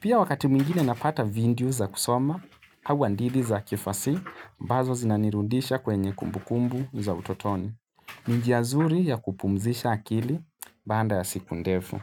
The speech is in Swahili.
Pia wakati mingine napata vindiyo za kusoma, au andili za kifasi, ambazo zinanirudisha kwenye kumbukumbu za utotoni. Ni njia nzuri ya kupumzisha akili banda ya siku ndefu.